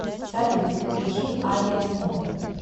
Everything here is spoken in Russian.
салют включи авиасмотр